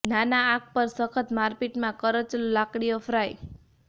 નાના આગ પર સખત મારપીટ માં કરચલો લાકડીઓ ફ્રાય